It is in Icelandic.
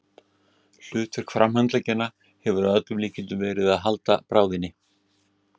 Hlutverk framhandleggjanna hefur að öllum líkindum verið að halda bráðinni.